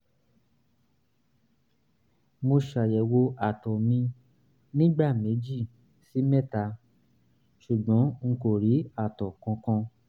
mo ṣayẹwo àtọ̀ mi nígbà méjì sí mẹ́ta ṣùgbọ́n n kò rí àtọ̀ kankan